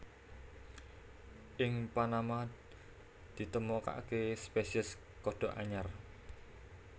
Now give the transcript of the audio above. Ing Panama ditemokaké spésiés kodhok anyar